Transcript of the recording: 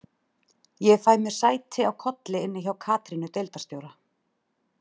Ég fæ mér sæti á kolli inni hjá Katrínu deildarstjóra.